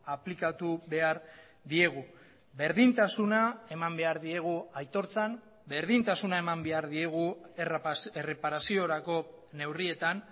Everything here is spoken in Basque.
aplikatu behar diegu berdintasuna eman behar diegu aitortzan berdintasuna eman behar diegu erreparaziorako neurrietan